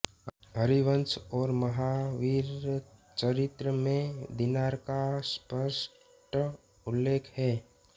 हरिवंश और महावीरचरित् में दीनार का स्पष्ट उल्लेख है